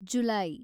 July